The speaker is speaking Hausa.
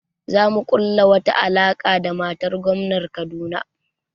Za mu ƙula wata alaƙa da matar gomnan Kaduna